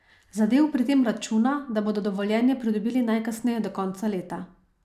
Zadel pri tem računa, da bodo dovoljenje pridobili najkasneje do konca leta.